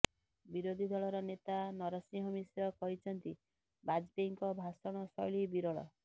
ବିରୋଧୀ ଦଳର ନେତା ନରସିଂହ ମିଶ୍ର କହିଛନ୍ତି ବାଜପେୟୀଙ୍କ ଭାଷଣ ଶୈଳୀ ବିରଳ